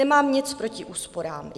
Nemám nic proti úsporám.